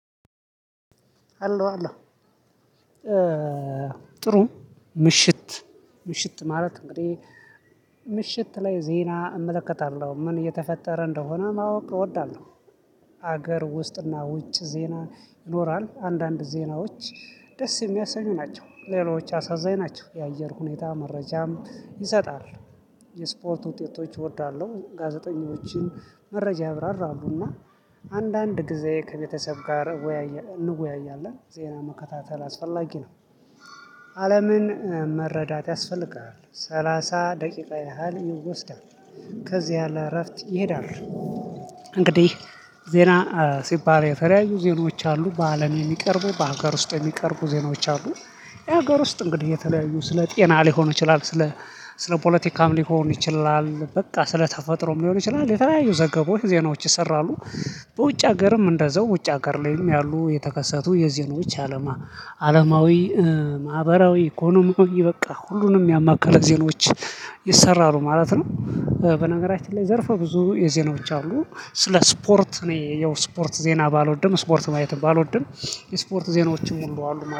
አለሁ አለሁ ጥሩ ምሽት ምሽት ማለት እንግዲህ ምሽት ላይ ዜና እመለከታለሁ ምን እየተፈጠረ እንደሆነ ማወቅ እወዳለሁ። ሀገር ውስጥና ውጭ ዜና ይኖራል አንዳንድ ዜናዎች ደስ የሚያሰኙ ናቸው ሌሎች አሳዛኝ ናቸው የአየር ሁኔታ መረጃም ይሰጣል። የስፖርት ውጤቶች እወዳለሁ ጋዜጠኞችን መረጃ ያብራራሉና አንዳንድ ጊዜ ከቤተሰብ ጋር እንወያያለን ዜና መከታተል አስፈላጊ ነው። አለምን መረዳት ያስፈልጋል ሰላሳ ደቂቃ ያህል ይወስዳል ከዚያ ለ እረፍት ይሄዳሉ። እንግዲህ ዜና ሲባል የተለያዩ ዜኖች አሉ በአለም የሚቀርቡ በሀገር ውስጥ ሚቀርቡ ዜናዎች አሉ። የሀገር ውስጥ እንግዲህ የተለያዩ ስለ ጤና ሊሆን ይችላል ስለ ስለ ፖለቲካም ሊሆን ይችላል በቃ ስለ ተፈጥሮም ሊሆን ይችላል የተለያዩ ዘገቦች ዜናዎች ይሰራሉ። በውጭ ሀገርም እንደዛው ውጭ ሀገር ላይም ያሉ የተከሰቱ የዜኖች አለማ አለማዊ ማህበራዊ ኢኮኖሚያዊ በቃ ሁሉንም ያማከለ ዜኖች ይሰራሉ ማለት ነው። በነገራችን ላይ ዘርፈ ብዙ የዜና ብቻ አሉ ስለ ስፖርት ነው የስፖርት ዜና ባልወድም ስፖርት ማየትም ባልወድም የስፖርት ዜናዎችን ሙሉ አሉ